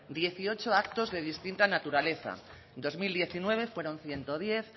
dieciocho actos de distinta naturaleza en dos mil diecinueve fueron ciento diez